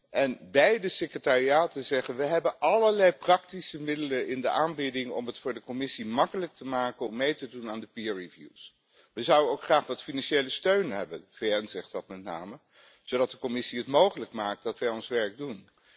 En beide secretariaten zeggen we hebben allerlei praktische middelen in de aanbieding om het voor de Commissie makkelijk te maken om mee te doen aan de peer reviews We zouden ook graag wat financiële steun hebben de VN zegt dat met name zodat de Commissie het mogelijk maakt dat wij ons werk doen.